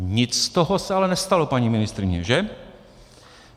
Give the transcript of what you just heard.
Nic z toho se ale nestalo, paní ministryně, že?